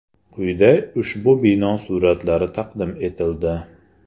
Quyida ushbu bino suratlari taqdim etildi.